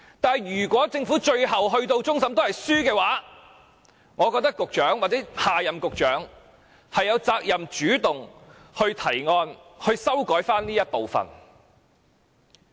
不過，如果政府上訴至終審法院敗訴，我覺得局長或下任局長有責任主動提出對這部分作出修改。